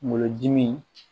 Kungolo dimi